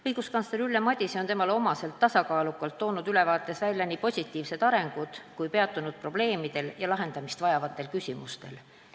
Õiguskantsler Ülle Madise on temale omaselt tasakaalukalt toonud ülevaates välja nii positiivsed arengud kui peatunud ka probleemidel ja lahendamist vajavatel küsimustel.